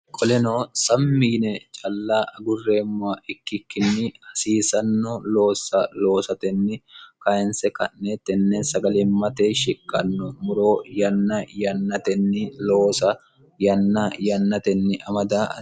qoleno sammi yine calla agurreemmoha ikkikkinni hasiisanno loossa loosatenni kayinse ka'neettenne sagalimmate shiqqanno muroo yanna yannatenni loosa yanna yannatenni amada